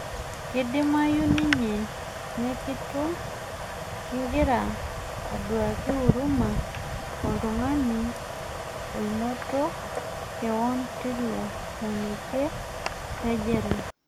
kedimayu ninye nekitum kingira aiduaki huruma oltung'ani oinoto keon tilo monekie lejela